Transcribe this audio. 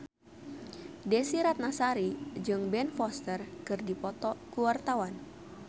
Desy Ratnasari jeung Ben Foster keur dipoto ku wartawan